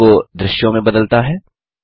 command को दृश्यों में बदलता है